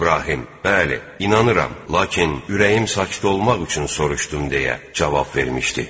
İbrahim: Bəli, inanıram, lakin ürəyim sakit olmaq üçün soruşdum, deyə cavab vermişdi.